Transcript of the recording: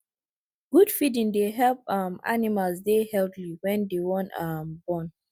good feeding dey help um animals dey healthy wen dey wan um born